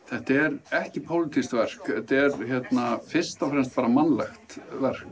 þetta er ekki pólitískt verk þetta er fyrst og fremst bara mannlegt